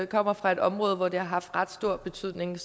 kommer fra et område hvor det har haft ret stor betydning